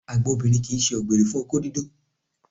Àgbà obìnrin kì í ṣe ọ̀gbẹ̀rì òkó dídó